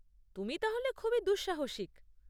তুমি তাহলে খুবই দুঃসাহসিক!